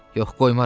Yox qoymaram.